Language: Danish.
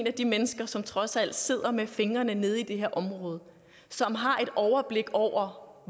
af de mennesker som trods alt sidder med fingrene nede i det her område og som har et overblik over